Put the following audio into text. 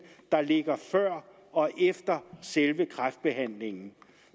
der ligger før og efter selve kræftbehandlingen